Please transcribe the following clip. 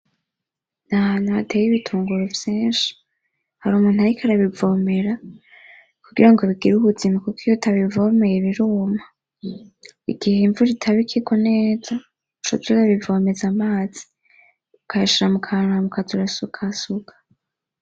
N'ahantu hateye ibitunguru vyinshi, har'umuntu ariko arabivomera kugira ngo bigire ubuzima kuko iyo utabivomeye biruma, igihe imvura itaba ikigwa neza, uca uza urabivomeza amazi ukayashira mukantu hama ukaza urasukasuka.